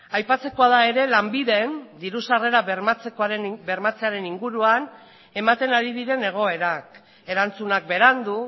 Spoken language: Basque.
aipatzekoa da ere lanbiden diru sarrera bermatzearen inguruan ematen ari diren egoerak erantzunak berandu